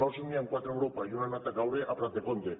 sols n’hi han quatre a europa i una ha anat a caure a prat de compte